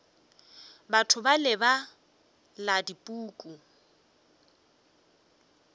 batho bale ba bala dipuku